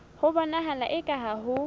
ho bonahala eka ha ho